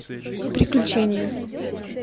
приключения